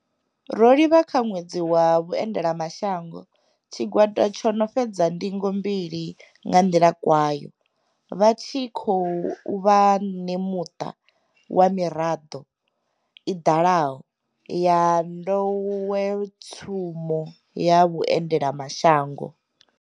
Ro livha kha Ṅwedzi wa Vhuendela mashango, tshigwada tsho no fhedza ndingo mbili nga nḓila kwao, vha tshi khou vha ṋemuṱa wa miraḓo i dalaho ya nḓowetshumo ya vhuendela mashango.